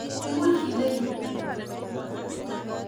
Imuch kende yun.